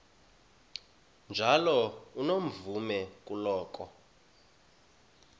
njalo unomvume kuloko